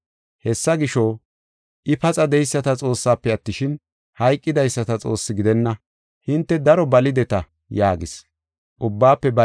Hessa gisho, I, paxa de7eyisata Xoossaafe attishin, hayqidaysata Xoosse gidenna. Hinte daro balideta” yaagis.